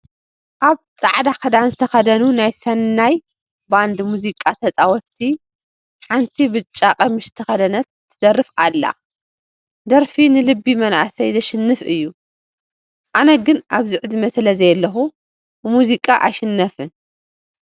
ኣብ ፃዕዳ ክዳን ዝተኸደኑ ናይ ሰናይ ባንድ ሙዚቃ ተፃወትቲ ሓንቲ ብጫ ቀሚሽ ዝተኸደነት ትደርፍ ኣላ፡፡ ደርፊ ንልቢ መናእሰይ ዘሽንፍ እዩ፡፡ ኣነ ግን ኣብዚ ዕድመ ስለዘየለኹ ብሙዚቃ ኣይሽነፍን፡፡